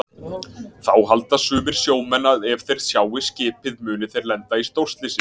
Þá halda sumir sjómenn að ef þeir sjái skipið muni þeir lenda í stórslysi.